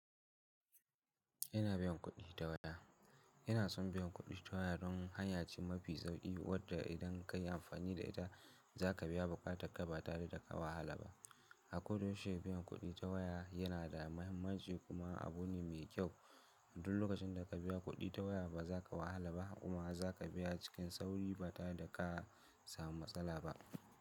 Ina biyan kuɗi ta waya. Ina son biyan kuɗi ta waya don hanya ce mafi sauƙi wadda idan ka yi amfani da ita za ka biya ba ka takaba tare da ka wahala ba. A koyaushe biyan kuɗi ta waya yana da muhimmanci kuma abu ne mai kyau. Duk lokacin da ka biya kuɗi ta waya ba za ka wahala ba kuma za ka biya cikin sauri ba tare da ka samu matsala ba.